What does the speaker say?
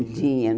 Não tinha.